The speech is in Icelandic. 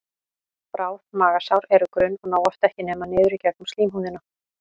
Bráð magasár eru grunn og ná oft ekki nema niður í gegnum slímhúðina.